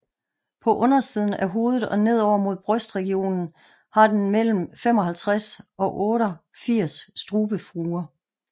På undersiden af hovedet og nedover mod brystregionen har den mellem 55 og 88 strubefurer